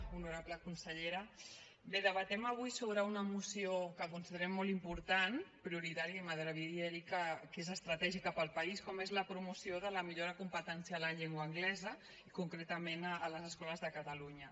honorable consellera bé debatem avui sobre una moció que considerem molt important prioritària i m’atreviria a dir que és estratègica per al país com és la promoció de la millora competencial en llengua anglesa i concretament a les escoles de catalunya